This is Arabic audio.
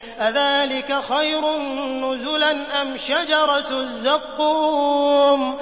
أَذَٰلِكَ خَيْرٌ نُّزُلًا أَمْ شَجَرَةُ الزَّقُّومِ